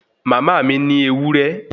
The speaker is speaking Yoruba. Mama ni ní ewúré